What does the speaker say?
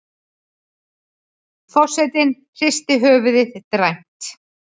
Forsetinn hristir höfuðið dræmt.